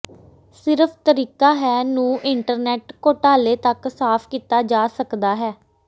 ਸਿਰਫ ਤਰੀਕਾ ਹੈ ਨੂੰ ਇੰਟਰਨੈੱਟ ਘੋਟਾਲੇ ਤੱਕ ਸਾਫ਼ ਕੀਤਾ ਜਾ ਸਕਦਾ ਹੈ